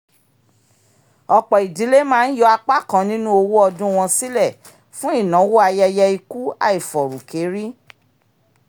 ọ̀pọ̀ idílé máa ń yọ apá kan nínú owó ọdún wọn sílẹ̀ fún ináwó ayẹyẹ ikú àìfọ̀rùkérí